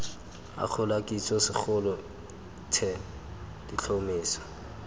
akgola kitso segolo the letlhomeso